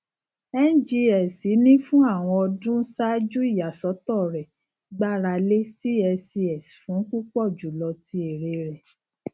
ngx ni fun awọn ọdun ṣaaju iyasọtọ rẹ gbarale cscs fun pupọ julọ ti ere rẹ